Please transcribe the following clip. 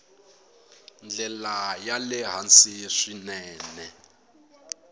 ndlela ya le hansi swinene